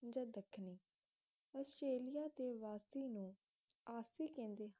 Australia ਦੇ ਵਾਸੀ ਨੂੰ ਆਸੀ ਕਹਿੰਦੇ ਹਨ